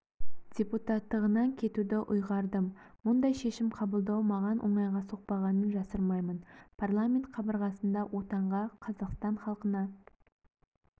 депутаттағынан кетуді ұйғардым мұндай шешім қабылдау маған оңайға соқпағанын жасырмаймын парламент қабырғасында отанға қазақстан халқына